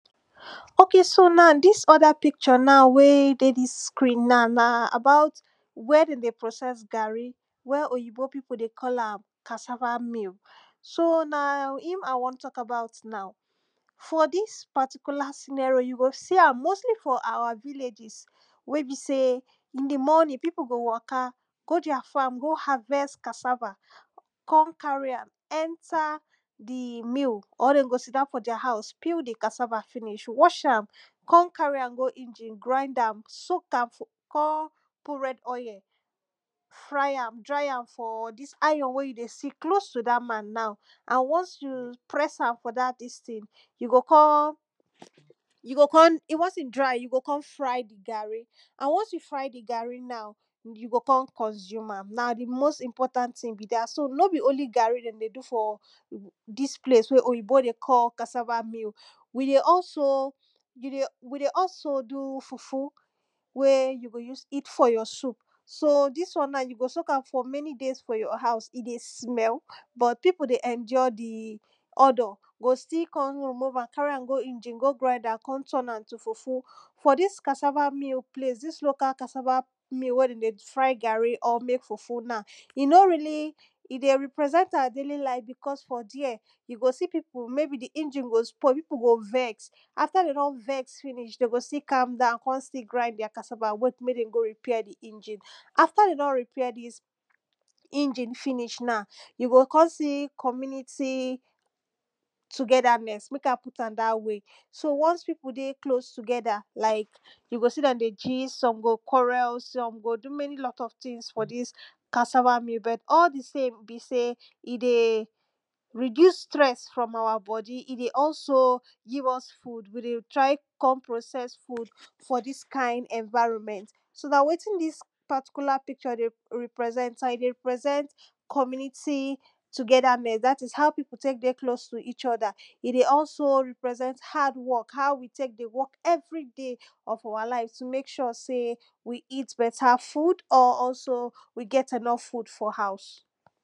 ok, so na, dis other picture na wey, dey dis screen na, na about where dem dey process garri where oyibo pipo dey call am cassava mill so na im i wan tok about now for dis particular scenerio you go see am mostly for awa villages wey be sey in the morning pipo go waka go deir farm go harvest cassava con carry am enter the mill or dem go sit down for deir house peel the cassava finish wash am come carry am go engine grind am, soak am fu con put red oil fry am, dry am for dis iron wey you dey see close to dat man now and once you press am for dat dis ting you go con you go con once he dry you go con fry the garri and once you fry the garri now you go con consume am. na the most important ting be dat. so no be only garri dem dey do for dis place wey oyibo dey call cassava mill we dey also, you dey we dey also do fufu wey you go use eat for your soup so, dis one you go soak am for many days for your house he dey smell but pipo dey enjoy the odour go still con remove am, carry am go engine go grind am, con turn am to fufu for dis cassava mill place, dis local cassava mill wey dem dey fry garri or mek fufu na he no really he dey represent awa daily life because for dere you go see pipo, maybe engine go spoil, pipo go vex after dem don vex finish, dem go still calm down con still grind deir cassava, wait mek dem go repair the engine after dem don repair dis engine finish na you go con see community togetherness mek i put am dat way so once pipo dey close together like you go see dem dey gist, some go quarrel, some go do many lot of tings for dis cassava mill, but all the same be sey he dey reduce stress from awa body, he dey also give us food, we dey try con process food for dis kind environment so dat wetin dis particular picture dey ri represent am, he dey represent community togetherness, dat is, how people take dey close to eachother he dey also, represent, hardwork how we take dey work everyday of awa life to mek sure sey we eat better food or also we get enough food for house.